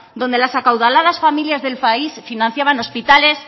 donde las acaudaladas familias del país financiaban hospitales